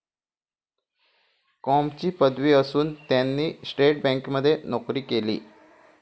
कॉमची पदवी असून त्यांनी स्टेट बँकमध्ये नोकरी केली.